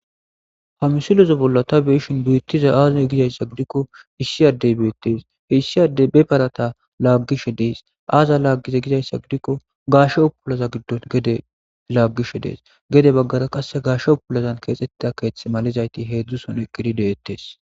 Ha misileza bolla ta beyishin beetizay aaze gizaysa gidiko issi addey beetees. Issi addey be parata laagishe dees. Aazan laagize gizaysa gidiko,gaashe uttulaza giddo gede laagishe dees. Gede baggara gaashe uttulan keexetida keethada gizaytika beetetees.